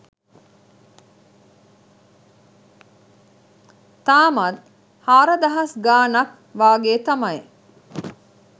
තාමත් හාරදහස් ගාණක් වගේ තමයි